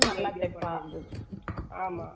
சேலை எல்லாம் அப்படித்தான் தைக்க போறேன் .